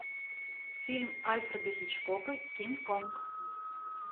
фильм альфреда хичкока кинг конг